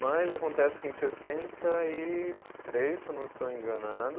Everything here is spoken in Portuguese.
Mas acontece que em sessenta e três, se eu não estou enganado